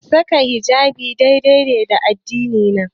Saka hijabi yayi dai-dai da addini na.